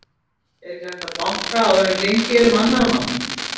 ER EKKI HÆGT AÐ BANKA ÁÐUR EN GENGIÐ ER UM ANNARRA MANNA